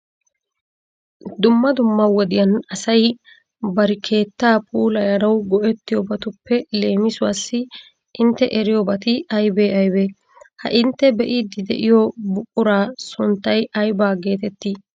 Dumma dumma wodiyan asay bari keettaa puulayanawu go'ettiyobatuppe leemisuwassi intte eriyobati. aybee aybee? Ha intte be'iiddi de'iyo buquraa sunttay aybaa geetettii?